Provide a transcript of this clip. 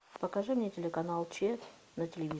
покажи мне телеканал че на телевизоре